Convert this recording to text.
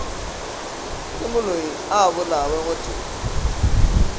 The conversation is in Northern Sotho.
ke moloi a bolawe gotee